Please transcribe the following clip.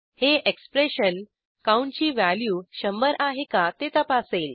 हे expression count ची value शंभर आहे का ते तपासेल